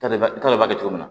Tari tari b'a kɛ cogo min na